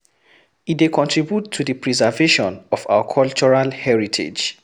E de contribute to the preservation of our cultural heritage